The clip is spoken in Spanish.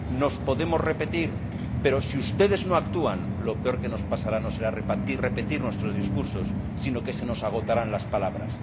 Nos podemos repetir, pero si ustedes no actúan, lo peor que nos pasará no será repetir nuestros discursos, sino que se nos agotarán las palabras.